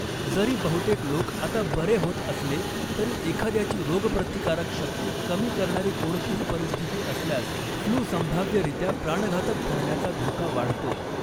जरी बहुतेक लोक आता बरे होत असले तरी, एखाद्याची रोगप्रतिकारक शक्ती कमी करणारी कोणतीही परिस्थिती असल्यास फ्लू संभाव्यरीत्या प्राणघातक ठरण्याचा धोका वाढतो.